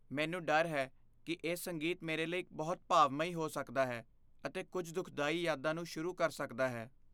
ਮੈਨੂੰ ਡਰ ਹੈ ਕਿ ਇਹ ਸੰਗੀਤ ਮੇਰੇ ਲਈ ਬਹੁਤ ਭਾਵਮਈ ਹੋ ਸਕਦਾ ਹੈ ਅਤੇ ਕੁੱਝ ਦੁੱਖਦਾਈ ਯਾਦਾਂ ਨੂੰ ਸ਼ੁਰੂ ਕਰ ਸਕਦਾ ਹੈ।